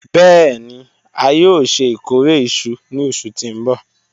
Bẹẹni a yoo ṣe ikore iṣu ni oṣu ti n bọ